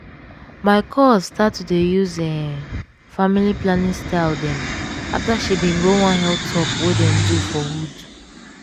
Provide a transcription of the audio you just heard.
my cuz start to dey use em family planning style dem afta she bin go one health talk wey dem do for hood.